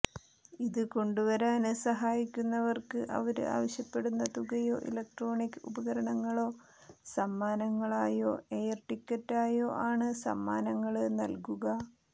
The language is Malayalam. ഇത് കൊണ്ടുവരുവാന് സഹായിക്കുന്നവര്ക്ക് അവര് ആവശ്യപ്പെടുന്ന തുകയോ ഇലക്ട്രോണിക് ഉപകരണങ്ങളോ സമ്മാനങ്ങളായോ എയര് ടിക്കറ്റായോ ആണ് സമ്മാനങ്ങള് നല്കുക